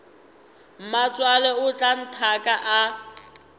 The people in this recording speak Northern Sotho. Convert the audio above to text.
mmatswale o tla nthaka a